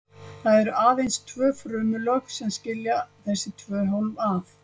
Það eru aðeins tvö frumulög sem skilja þessi tvö hólf að.